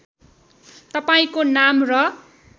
तपाईँंको नाम र